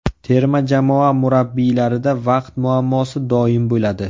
Terma jamoa murabbiylarida vaqt muammosi doim bo‘ladi.